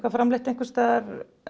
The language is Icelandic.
framleitt einhvers staðar